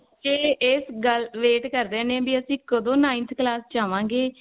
ਕਿ ਇਸ ਗੱਲ wait ਕਰਦੇ ਨੇ ਵੀ ਅਸੀਂ ਕਦੋ ninth class ਚ ਆਵਾਂਗੇ